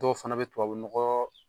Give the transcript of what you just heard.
Dɔw fana be tubabu nɔgɔ